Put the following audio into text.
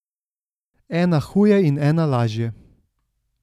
Ena huje in ena lažje.